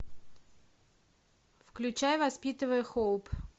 включай воспитывая хоуп